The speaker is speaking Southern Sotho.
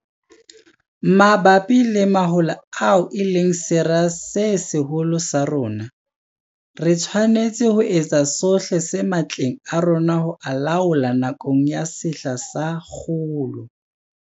Mabapi le mahola ao e leng sera se seholo sa rona, re tshwanetse ho etsa sohle se matleng a rona ho a laola nakong ya sehla sa kgolo.